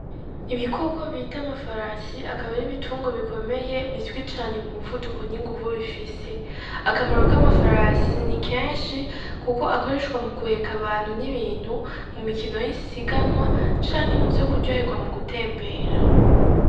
Ibikoko bita amafarasi akab'ari ibitunrwa bikomeye bizwi cane mu muvuduko n'inguvu bifise , akamaro k'amafarasi n'ikenshi kuko akoreshwa mu guhek'abantu n'ibintu mu mikino y'isiganwa canke muvyo kuryoherwa mu gutembera.